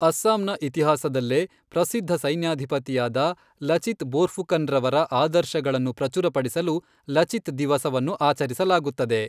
ಅಸ್ಸಾಂನ ಇತಿಹಾಸದಲ್ಲೇ ಪ್ರಸಿದ್ಧ ಸೈನ್ಯಾಧಿಪತಿಯಾದ ಲಚಿತ್ ಬೋರ್ಫುಕನ್ರವರ ಆದರ್ಶಗಳನ್ನು ಪ್ರಚುರಪಡಿಸಲು 'ಲಚಿತ್ ದಿವಸ'ವನ್ನು ಆಚರಿಸಲಾಗುತ್ತದೆ.